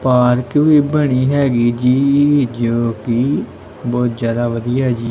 Park ਵੀ ਬਣੀ ਹੈਗੀ ਜੀ ਜੋ ਕੀ ਬਹੁਤ ਜਿਆਦਾ ਵਧੀਆ ਜੀ।